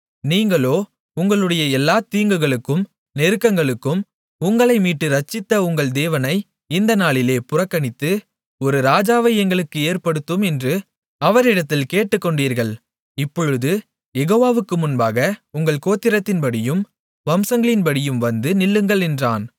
நீங்களோ உங்களுடைய எல்லாத் தீங்குகளுக்கும் நெருக்கங்களுக்கும் உங்களை மீட்டு இரட்சித்த உங்கள் தேவனை இந்த நாளிலே புறக்கணித்து ஒரு ராஜாவை எங்களுக்கு ஏற்படுத்தும் என்று அவரிடத்தில் கேட்டுக்கொண்டீர்கள் இப்பொழுது யெகோவாவுக்கு முன்பாக உங்கள் கோத்திரத்தின் படியும் வம்சங்களின்படியும் வந்து நில்லுங்கள் என்றான்